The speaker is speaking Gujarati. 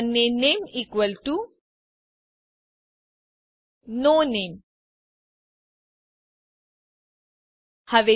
અને નામે ઇકવલ ટુ નો નામે